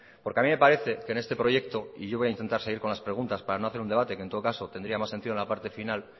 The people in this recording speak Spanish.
porque a mí me parece que en este proyecto y yo voy a intentar seguir con las preguntas para no hacer un debate que en todo caso tendría más sentido en la parte final